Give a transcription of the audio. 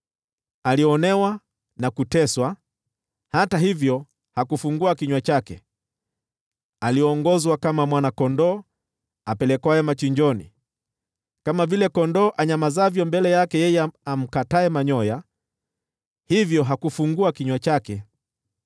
Alionewa na kuteswa, hata hivyo hakufungua kinywa chake; aliongozwa kama mwana-kondoo apelekwaye machinjoni, kama vile kondoo anyamazavyo mbele ya wao wamkataye manyoya, hivyo hakufungua kinywa chake.